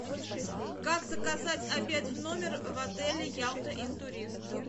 как заказать обед в номер в отеле ялта интурист